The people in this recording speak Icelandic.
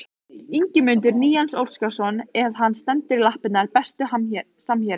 Ingimundur Níels Óskarsson ef hann stendur í lappirnar Besti samherjinn?